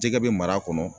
Jɛgɛ bɛ mara kɔnɔ